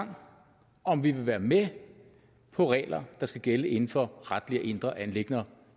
gang om vi vil være med på regler der skal gælde inden for retlige og indre anliggender